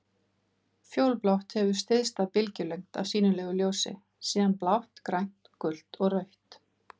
Fjólublátt hefur stysta bylgjulengd af sýnilegu ljósi, síðan blátt, grænt, gult og rautt.